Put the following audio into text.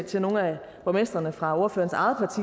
til nogle af borgmestrene fra ordførerens